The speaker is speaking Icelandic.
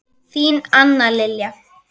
Þín Anna Lilja.